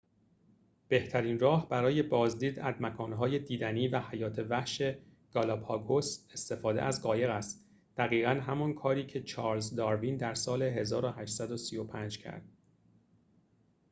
بهترین راه برای بازدید از مکان‌های دیدنی و حیات وحش گالاپاگوس استفاده از قایق است دقیقاً همان کاری که چارلز داروین در سال ۱۸۳۵ کرد